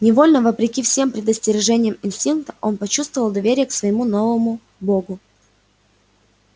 невольно вопреки всем предостережениям инстинкта он почувствовал доверие к своему новому богу